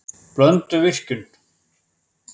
Blönduvirkjun